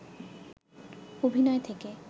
অভিনয় থেকে